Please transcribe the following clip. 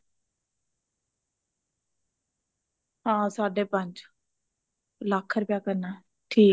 ਹਾਂ ਸਾਡੇ ਪੰਜ ਇੱਕ ਲੱਖ ਰੁਪਯਾ ਕਰਨਾ ਠੀਕ ਐ